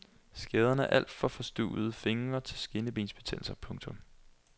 Skaderne er alt fra forstuvede fingre til skinnebensbetændelse. punktum